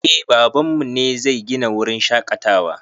Eh baban mu ne zai gina wurin shaƙatawa